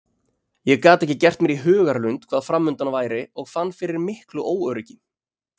Ég gat ekki gert mér í hugarlund hvað framundan væri og fann fyrir miklu óöryggi.